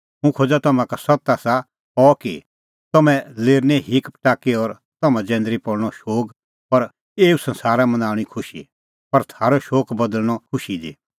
हुंह खोज़ा तम्हां का सत्त आसा अह कि तम्हैं लेरनै हीक पटाकी और तम्हां जैंदरी पल़णअ शोग पर एऊ संसारा मनाऊंणी खुशी पर थारअ शोग बदल़णअ खुशी दी